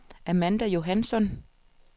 Amanda Johansson